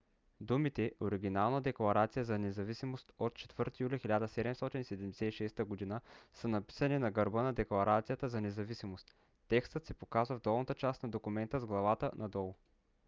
думите оригинална декларация за независимост от 4 юли 1776 г. са написани на гърба на декларацията за независимост. текстът се показва в долната част на документа с главата надолу